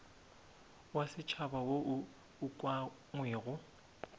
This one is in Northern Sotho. wa setšhaba wo o ukangwego